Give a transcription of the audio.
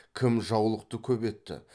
кім жаулықты көп етті